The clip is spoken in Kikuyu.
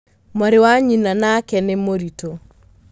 Mwarĩwa nyina nake nĩmũritũ.